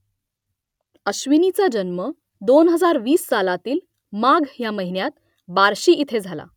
अश्विनीचा जन्म दोन हजार वीस सालातील माघ या महिन्यात बार्शी इथे झाला